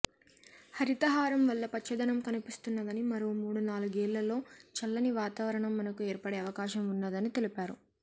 హరితహారం వల్ల పచ్చదనం కనిపిస్తున్నదని మరో మూడు నాలుగేళ్లలో చల్లని వాతావరణం మనకు ఏర్పడే అవకాశం ఉన్నదని తెలిపారు